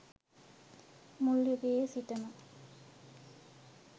මුල් යුගයේ සිටම